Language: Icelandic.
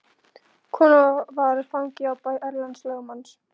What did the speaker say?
Konan var fangi á bæ Erlends lögmanns.